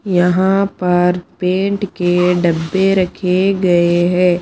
यहां पर पेंट के डब्बे रखे गए हैं।